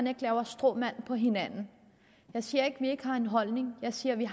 at lave stråmænd på hinanden jeg siger ikke vi ikke har en holdning jeg siger vi